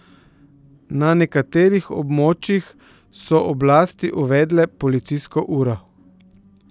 Na nekaterih območjih so oblasti uvedle policijsko uro.